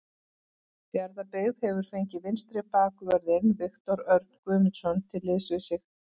Fjarðabyggð hefur fengið vinstri bakvörðinn Viktor Örn Guðmundsson til liðs við sig.